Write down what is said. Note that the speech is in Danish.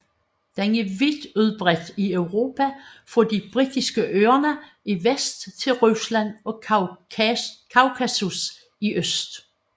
Den er vidt udbredt i Europa fra de Britiske Øer i vest til Rusland og Kaukasus i øst